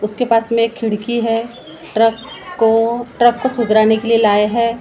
उसके पास में एक खिड़की है ट्रक को ट्रक को सुधराने के लिए लाए हैं।